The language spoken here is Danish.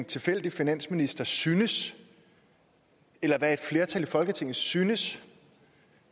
tilfældig finansminister synes eller hvad et flertal i folketinget synes